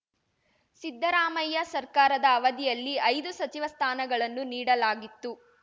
ಸಿದ್ಧರಾಮಯ್ಯ ಸರ್ಕಾರದ ಅವಧಿಯಲ್ಲಿ ಐದು ಸಚಿವ ಸ್ಥಾನಗಳನ್ನು ನೀಡಲಾಗಿತ್ತು